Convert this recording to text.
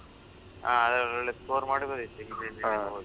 ಹಾ ಅದ್ರಲ್ಲಿ ಒಳ್ಳೆ score ಮಾಡ್ಬಹುದಿತ್ತು ಹಿಂದಿನ, ದಿನ ಓದಿ.